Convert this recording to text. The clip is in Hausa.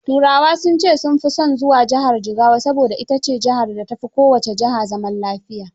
Turawa sun ce sun fi son zuwa Jigawa, saboda ita ce jihar da ta fi kowacce jiha zaman lafiya.